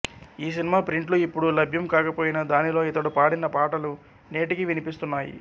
ఈ సినిమా ప్రింట్లు ఇప్పుడు లభ్యం కాకపోయినా దానిలో ఇతడు పాడిన పాటలు నేటికీ వినిపిస్తున్నాయి